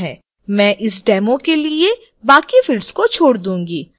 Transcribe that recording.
मैं इस demo के लिए बाकी fields को छोड़ दूंगी